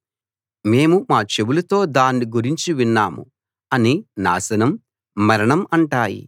మేము మా చెవులతో దాన్ని గురించి విన్నాము అని నాశనం మరణం అంటాయి